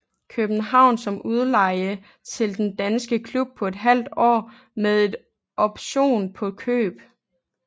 København om udleje til den danske klub på et halvt år med en option på køb